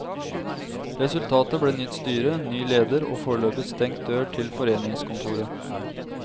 Resultatet ble nytt styre, ny leder og foreløpig stengt dør til foreningskontoret.